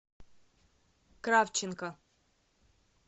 кравченко